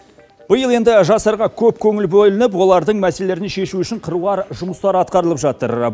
биыл енді жастарға көп көңіл бөлініп олардың мәселелерін шешу үшін қыруар жұмыстар атқарылып жатыр